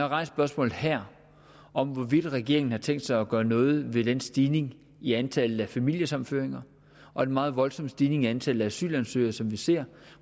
rejst spørgsmålet her om hvorvidt regeringen har tænkt sig at gøre noget ved den stigning i antallet af familiesammenføringer og den meget voldsomme stigning i antallet af asylansøgere som vi ser